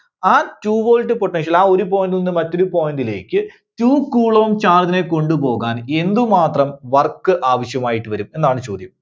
ആ two volt potential ആ ഒരു point ൽ നിന്ന് മറ്റൊരു point ലേക്ക് two coulomb charge നെ കൊണ്ടുപോകാൻ എന്തുമാത്രം work ആവശ്യമായിട്ട് വരും? എന്നാണ് ചോദ്യം.